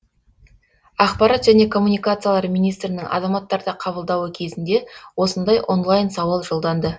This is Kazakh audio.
ақпарат және коммуникациялар министрінің азаматтарды қабылдауы кезінде осындай онлайн сауал жолданды